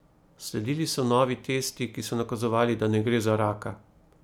Sledili so novi testi, ki so nakazovali, da ne gre za raka.